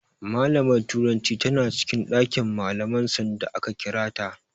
Malamar turancin tana cikin ɗakin malaman sanda aka kira ta.